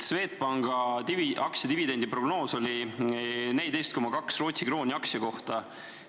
Swedbanki aktsia dividendiprognoos oli 14,2 Rootsi krooni aktsia kohta.